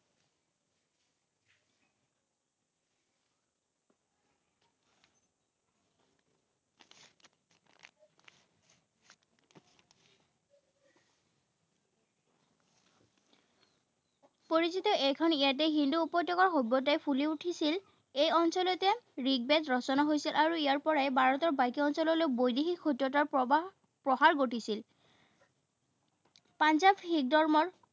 পৰিচিত এইখন ইয়াতে সিন্ধু উপত্যকাৰ সভ্যতাই ফুলি উঠিছিল। এই অঞ্চলতে ঋগবেদ ৰচনা হৈছিল, আৰু ইয়াৰপৰাই ভাৰতৰ বাকী অঞ্চললৈ বৈদেশিক সুত্ৰতাৰ প্ৰবাহ প্ৰসাৰ ঘটিছিল। পাঞ্জাৱ শিখ ধৰ্মৰ